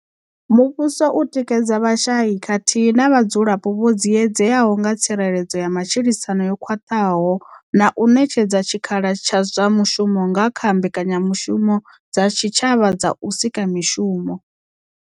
Muvhuso u tikedza vhashai khathihi na vhadzulapo vho dziedzeaho nga kha tsireledzo ya matshilisano yo khwaṱhaho na u ṋetshedza tshikhala zwa mushumo nga kha mbekanya mushumo dza tshitshavha dza u sika mishumo.